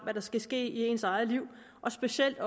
hvad der skal ske i ens eget liv specielt